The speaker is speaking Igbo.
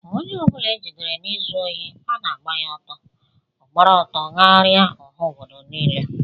Ónyé ọbula ejidere na ịzụ ohi ana agba ya ọtọ, ogbara ọtọ gharia ọha ọbọdọ nille.